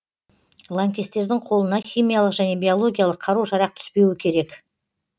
лаңкестердің қолына химиялық және биологиялық қару жарақ түспеуі керек